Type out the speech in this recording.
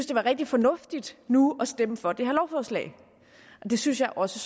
det var rigtig fornuftigt nu at stemme for det her lovforslag og det synes jeg også